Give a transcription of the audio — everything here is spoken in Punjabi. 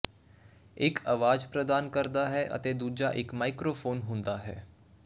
ਇਕ ਆਵਾਜ਼ ਪ੍ਰਦਾਨ ਕਰਦਾ ਹੈ ਅਤੇ ਦੂਜਾ ਇਕ ਮਾਈਕ੍ਰੋਫ਼ੋਨ ਹੁੰਦਾ ਹੈ